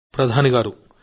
మోదీ గారూ